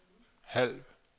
halv